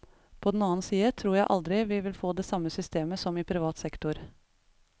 På den annen side tror jeg aldri vi vil få det samme systemet som i privat sektor.